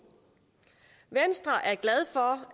venstre er glad for